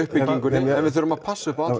við þurfum að passa upp á